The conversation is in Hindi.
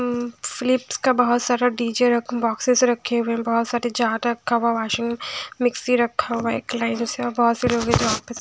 उम्म फिलिप्स का बहुत सारा डी_जे बॉक्सेस रखे हुए हैं बहुत सारे जार रखा हुआ वाशिंग मिक्सी रखा हुआ एक लाइन बहुत --